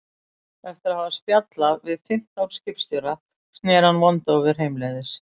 Eftir að hafa spjallað við fimmtán skipstjóra sneri hann vondaufur heimleiðis.